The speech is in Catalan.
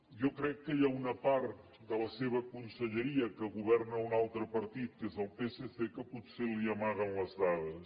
jo crec que hi ha una part de la seva conselleria que governa un altre partit que és el psc que potser li amaguen les dades